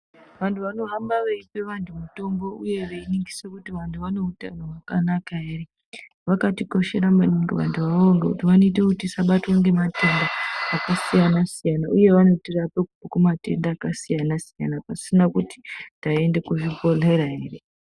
Vantu vanohamba veipe vantu mitombo uye veiningisa kuti vantu vane utano ere vakatikoshera maningi vantu avavo nekuti vanoita Kuti tisabatwa ngematenda akasiyana-siyana uye vanotirapa kubva kumatenda akasiyana-siyana pasina kuti taenda kuzvibhohlera ere.